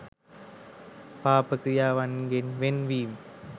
පාප ක්‍රියාවන්ගෙන් වෙන් වී